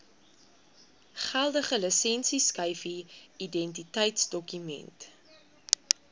geldige lisensieskyfie identiteitsdokument